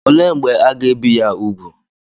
Olee mgbe aga-ebi ya úgwù?